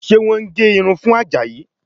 Ṣé wọ́n ń gé irun fún Àjàyí?